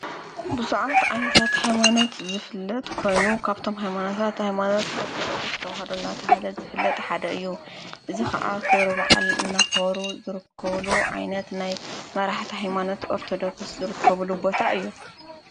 ብዙሓት ዓይነታት ሃይማኖት ዝፍለጥ ኮይኑ ካብቶም ሓይማናታት ሃይማኖት ኦርቶዶኩስፍ ተዉሃዶ ናተበሃ ልፍለጥ ሓደ እዩ። እዝ ኸዓ ኽብሪብዓል እናኽበሩ ዘርከብሉ ዓይነት ናይ መራሕቲ ሃይማኖት ኦርተዶኩስ ዝርከቡሉ ቦታ እዩ።